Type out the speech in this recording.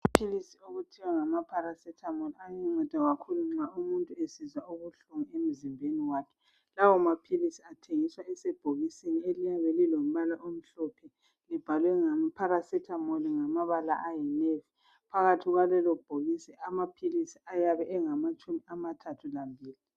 Iphilisi okuthiwa ngama paracetamol ayanceda kakhulu nxa umuntu esizwa ubuhlungu emzimbeni wakhe. Lawa maphilisi athengiswa esebhokisini eliyabe lilompala omhlophe libhalwe paracetamol ngamabala ayiyelo, phakathi kwalelo bhokisi amaphilisi ayabe engamatshumi amathatha lambili.